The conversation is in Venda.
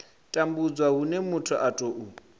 tambudzwa hune muthu a tou